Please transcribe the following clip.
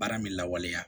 Baara min lawaleya